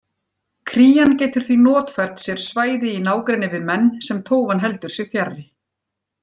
Krían getur því notfært sér svæði í nágrenni við menn sem tófan heldur sig fjarri.